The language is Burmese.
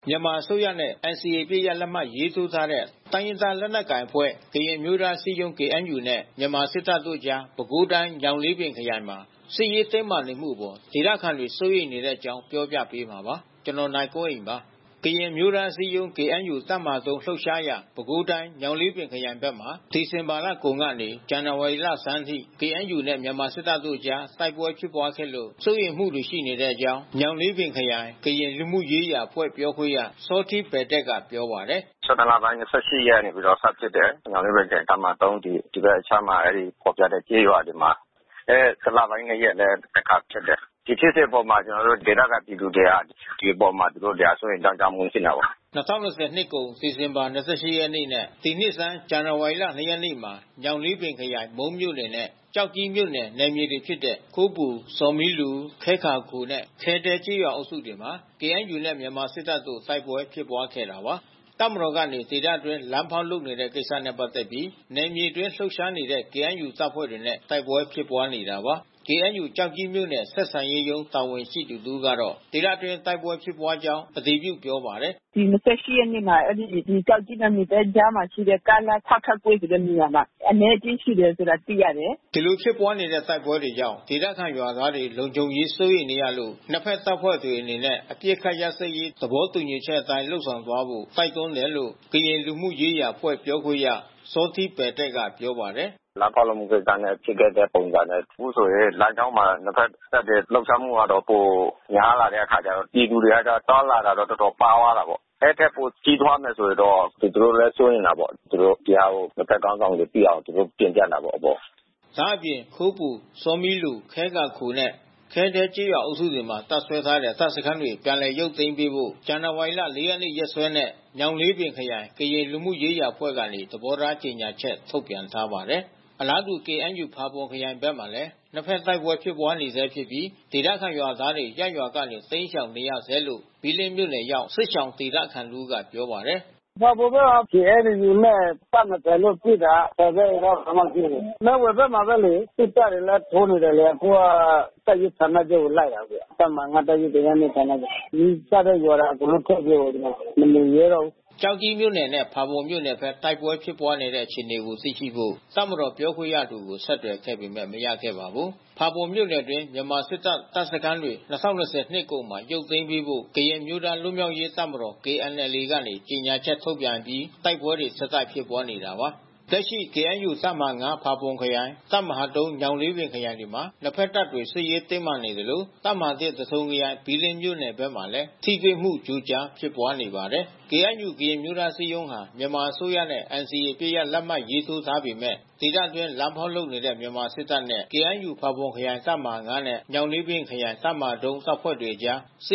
မြန်မာအစိုးရနဲ့ NCAအပစ်ရပ် လက်မှတ်ထိုးထားတဲ့ တိုင်းရင်းသား လက်နက်ကိုင်အဖွဲ့ ကရင်အမျိုးသားအစည်း အရုံးKNUနဲ့ မြန်မာစစ်တပ်ကြား ပဲခူးတိုင်း၊ ညောင်လေးပင် ခရိုင်မှာ စစ်ရေး တင်းမာနေတဲ့အပေါ် ဒေသခံတွေစိုးရိမ် နေတဲ့အကြောင်း နိုင်ကွန်းအိန် ပြောပြပေးမှာပါ။ ကရင်အမျိုးသားအစည်းအရုံ းKNU တပ်မဟာ လှုပ်ရှားရာ ပဲခူးတိုင်း ညောင်လေးပင်ခရိုင်ဖက်မှာ ဒီဇင်ဘာလ ကုန်ကနေ ဇန်နဝါရီလဆန်းအထိ KNUနဲ့မြန်မာစစ်တပ်တို့အကြား တိုက်ပွဲဖြစ်ပွါးခဲ့လို့ စိုးရိမ်မှုတွေရှိနေတဲ့ အကြောင်း ညောင်လေးပင်ခရိုင် ကရင်လူမှုရေးရာအဖွဲ့ပြောခွင့်ရ စောထီးပယ်တယ့်ကပြောပါတယ်။ လပိုင်း ရက်နေ့ကစပြီးစဖြစ်တယ်။ ညောင်လေးပင်ခရိုင်တပ်မဟာ ဒီဘက်အခြမ်း အဲဒီဖေါ်ပြတဲ့ကျေးရွာ တွေမှာ။ အဲ လပိုင်း ရက်လဲတခါဖြစ်တယ်။ ဒီဖြစ်စဉ်အပေါ်မှာ ကျွန်တော်တို့ဒေသခံပြည်သူတွေ ဒီအပေါ်မှာ စိုးရိမ်ကြောင့်ကျမှုတွေဖြစ်တယ်။” ၂၀၂၀နှစ်ကုန်ဒီဇင်ဘာ ရက်နေ့နဲ့ ဒီနှစ်ဆန်းဇန်နာဝါရီ ရက်နေ့မှာ ညောင်လေးပင်ခရိုင် မုန်းမြို့နယ်နဲ့ ကျောက်ကြီးမြို့နယ် နယ်မြေဖြစ်တဲ့ ခိုးပူ၊ ဆောမီလူ ၊ ခဲကာခိုနဲ့ခဲဒဲကျေးရွာအုပ်စုတွေမှာ KNUနဲ့မြန်မာစစ်တပ်တို့ တိုက်ပွဲဖြစ်ပွါးခဲ့တာပါ။ တပ်မတော်ကနေ ဒေသအတွင်းလမ်းဖေါက်လုပ်နေတဲ့ကိစ္စနဲ့ပက်သက်ပြီး နယ်မြေအတွင်းလှုပ်ရှားနေတဲ့ KNU တပ်ဖွဲ့တွေနဲ့ တိုက်ပွဲဖြစ်ပွါးနေတာပါ။ KNU ကျောက်ကြီးမြို့နယ် ဆက်ဆံရေးရုံးတာဝန်ရှိသူတဦးကတော့ ဒေသတွင်းတိုက်ပွဲဖြစ်ပွါးကြောင်းအတည်ပြု ပြောပါတယ်။ ရက်နေ့မှာ အဲဒီကျောက်ကြီးနဲ့ မူသဲကြားမှာရှိတဲ့ ကားလမ်းပစောင့်ကွေ့ဆိုတဲ့နေရာမှာ အနဲအကျဉ်းဖြစ် တယ်ဆိုတာသိရတယ်။” ဒီလိုဖြစ်ပွါးတဲ့တိုက်ပွဲတွေကြောင့်ဒေသခံရွာသားတွေလုံခြုံရေး စိုးရိမ်နေရလို့ နှစ်ဖက်တပ်ဖွဲ့တွေအနေနဲ့ အပစ်ခတ် ရပ်စဲရေး သဘောတူညီချက်အတိုင်လုပ်ဆောင်သွားဖို့တိုက်တွန်းတယ်လို့ ကရင်လူမှုရေးရာအဖွဲ့ပြောခွင့်ရ စောထီး ပယ်တယ့်ကပြောပါတယ်။ “လမ်းဖေါက်လုပ်မှုကိစ္စနဲ့ဖြစ်ခဲ့တဲ့ပုံစံဘဲ။ အခုဆိုရင်လမ်းကြောင်းမှာ နှစ်ဖက်တပ်တွေ လှုပ်ရှားမှုကတော့ပို များလာ တဲ့ အခါကျတော့ ပြည်သူတွေကတော့ သွားလာတာတော့ တော်တော်ပါးသွားတာပေါ့။ အဲဒီထက်ပိုကြီးထွားလာမယ် ဆိုရင်တော့ သူတို့လဲစိုးရိမ်တာပေါ့။ သူတို့ဒီဟာကို နှစ်ဖက်ခေါင်းဆောင်တွေသိအောင် သူတို့တင်ပြတာပေါ့ အဲဒီ အပေါ်။” ဒါအပြင် ခိုးပူ ဆောမီလူ ခဲကာခိုနဲ့ခဲဒဲကျေးရွာ အုပ်စုတွေမှာတပ်စွဲထားတဲ့တပ်စခန်းတွေပြန်လည်ရုပ်သိမ်းပေးဖို့ ဇန်နာဝါရီ ရက်နေ့ရက်စွဲနဲ့ညောင်လေးပင်ခရိုင် ကရင်လူမှုရေးရာအဖွဲ့ ကနေသဘောထားကြေညာချက် ထုတ်ပြန် ထားပါတယ်။ အလားတူ KNUဖာပွန်ခရိုင်ဘက်မှာလဲ နှစ်ဖက်တိုက်ပွဲတွေဖြစ်ပွါးနေဆဲဖြစ်ပြီး ဒေသခံရွာသားတွေ ရပ်ရွာကနေ တိမ်းရှောင်နေရဆဲလို့ ဘီးလင်းမြို့နယ်ရောက် စစ်ရှောင်ဒေသခံတဦးက ပြောပါတယ်။ “ဖာပွန်တော့ KNUနဲ့တပ်မတော်နဲ့ပစ်တာ တိုက်ပွဲခဏခဏဖြစ်တယ်။ မဲဝိုင်ဘက်မှာဘဲလေ။ စစ်တပ်တွေလဲထိုးနေတယ် လေ အခုက တပ်ရင်းဌာနချုပ်ကိုလိုက်တာအခုက။ တပ်မဟာ တပ်ရင်း ဌာနချုပ်ကို။ နီးစပ်တဲ့ရွာတွေ အကုန် လုံး ထွက်ပြေးတယ်။ မနေရဲတော့ဘူး။” ကျောက်ကြီးမြို့နယ်နဲ့ ဖာပွန်မြို့နယ်ဖက်တိုက်ပွဲဖြစ်ပွါးနေတဲ့အခြေအနေကိုသိရှိဖို့ တပ်မတော်ပြောခွင့်ရသူကို ဆက်သွယ်ခဲ့ပေမဲ့မရခဲ့ပါဘူး။ ဖာပွန်မြို့နယ်အတွင်း မြန်မာစစ်တပ်တပ်စခန်းတွေ ၂၀၂၀ နှစ်ကုန်မှာ ရုပ်သိမ်းပေးဖို့ ကရင်အမျိုးသားလွတ်မြောက် ရေး တပ်မတော်KNLAကနေ ကြေညာချက်ထုတ်ပြန်အပြီး တိုက်ပွဲတွေဆက်တိုက် ဖြစ်ပွါးလာနေတာပါ။ လက်ရှိKNUတပ်မဟာ ဖာပွန်ခရိုင် တပ်မဟာ ညောင်လေးပင်ခရိုင်တွေမှာ နှစ်ဖက်တပ်တွေစစ်ရေးတင်းမာ နေသလို တပ်မဟာ သထုံခရိုင် ဘီးလင်းမြို့နယ်ဘက်မှာလဲ ထိတွေ့မှုကြိုကြားဖြစ်ပွါးနေပါတယ်။ KNU-ကရင်အမျိုးသားအစည်းအရုံးဟာ မြန်မာအစိုးရနဲ့ NCAအပစ်ရပ်လက်မှတ်ရေးထိုးထားပေမဲ့ ဒေသအတွင်း လမ်းဖောက်လုပ်နေတဲ့မြန်မာစစ်တပ်နဲ့ KNU ဖါပွန်ခရိုင်တပ်မဟာ နဲ့ ညောင်လေးပင်ခရိုင် တပ်မဟာ တပ်ဖွဲ့ တို့ကြား စ